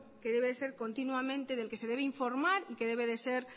que debe de ser continuamente del que se debe informar y que debe de ser